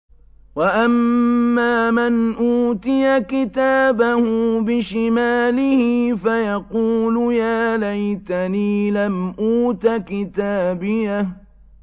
وَأَمَّا مَنْ أُوتِيَ كِتَابَهُ بِشِمَالِهِ فَيَقُولُ يَا لَيْتَنِي لَمْ أُوتَ كِتَابِيَهْ